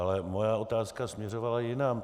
Ale moje otázka směřovala jinam.